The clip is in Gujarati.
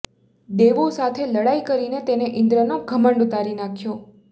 દેવો સાથે લડાઈ કરીને તેને ઇન્દ્રનો ઘમંડ ઉતારી નાખ્યો